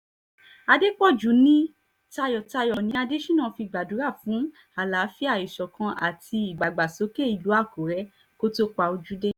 àdèpọ̀jù ní tayọ̀tayọ̀ ni adésínà fi gbàdúrà fún àlàáfíà ìṣọ̀kan àti ìdàgbàsókè ìlú àkùrẹ́ kó tóó pa ojú dé